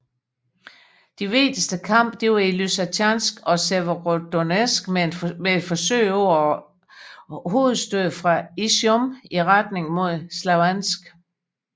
De vigtigste kampe var i Lysytjansk og Severodonetsk med et forsøg på et hovedstød fra Izjum i retning mod Slavjansk